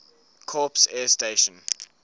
corps air station